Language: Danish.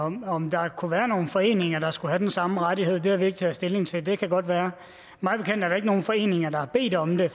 om om der kunne være nogle foreninger der skulle have den samme ret har vi ikke taget stilling til det kan godt være mig bekendt er der ikke nogen foreninger der har bedt om det